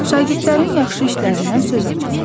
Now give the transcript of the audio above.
Şagirdlərin yaxşı işlərindən söz açırlar.